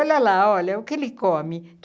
Olha lá, olha o que ele come.